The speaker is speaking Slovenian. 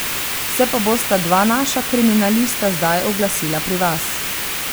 Se pa bosta dva naša kriminalista zdaj oglasila pri vas.